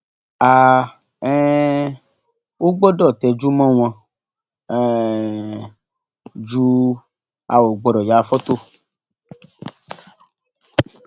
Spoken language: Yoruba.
a um ò gbọdọ tẹjú mọ wọn um jù a ò gbọdọ ya fọtò